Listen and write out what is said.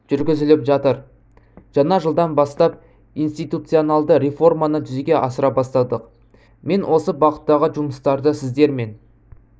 жүргізіліп жатыр жаңа жылдан бастап институционалды реформаны жүзеге асыра бастадық мен осы бағыттағы жұмыстарды сіздермен